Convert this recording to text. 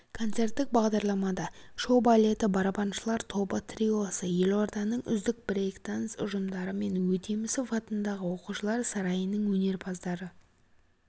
концерттік бағдарламада шоу-балеті барабаншылар тобы триосы елорданың үздік брэйкданс ұжымдары мен өтемісов атындағы оқушылар сарайының өнерпаздары